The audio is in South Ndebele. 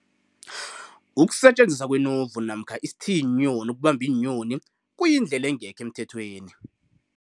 kusetjenziswa kwenovu, isithiyiinyoni ukubamba iinyoni kuyindlela engekho emthethweni